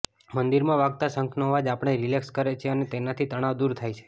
મંદિરમાં વાગતા શંખનો અવાજ આપણે રિલેક્સ કરે છે અને તેનાથી તણાવ દૂર થાય છે